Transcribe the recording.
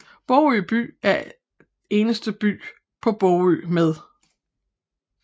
Bogø By er eneste by på Bogø med